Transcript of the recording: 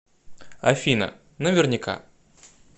афина наверняка